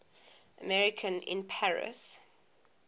american in paris